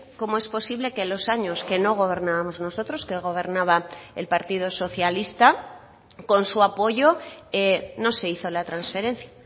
cómo es posible que los años que no gobernábamos nosotros que gobernaba el partido socialista con su apoyo no se hizo la transferencia